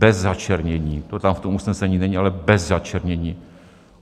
Bez začernění, to tam v tom usnesení není, ale bez začernění.